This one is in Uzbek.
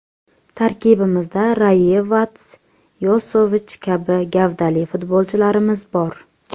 Tarkibimizda Rayevats, Yosovich kabi gavdali futbolchilarimiz bor.